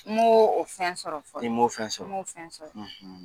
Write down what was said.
N m'o o fɛn sɔrɔ fɔlɔ, i m'o o fɛn sɔrɔ, n m'o o fɛn sɔrɔ,